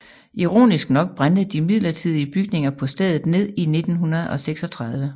Ironisk nok brændte de midlertidige bygninger på stedet ned i 1936